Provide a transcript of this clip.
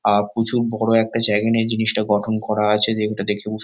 আহ প্রচুর বড় একটা জায়গা নিয়ে জিনিসটা গঠন করা আছে জায়গা দেখেও এটা দেখুন--